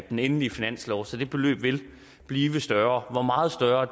den endelige finanslov så det beløb vil blive større hvor meget større